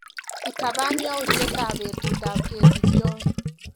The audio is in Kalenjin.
Itapan yautyetap betutap kesich John.